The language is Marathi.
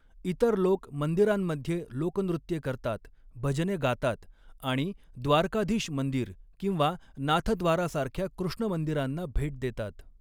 इतर लोक मंदिरांमध्ये लोकनृत्ये करतात, भजने गातात आणि द्वारकाधीश मंदिर किंवा नाथद्वारासारख्या कृष्ण मंदिरांना भेट देतात.